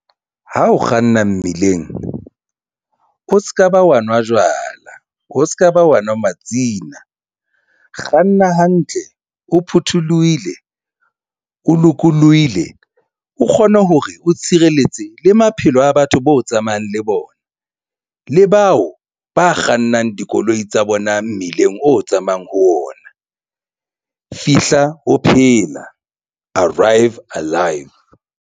Ha o kganna mmileng o se ka ba wa nwa jwala, o se ka ba wa nwa matsina kganna hantle o photholohile, o lokolohile, o kgone hore o tshireletse le maphelo a batho bao tsamayang le bona, le bao ba kgannang dikoloi tsa bona mmileng o tsamayang ho wona. Fihla o phela arrive alive.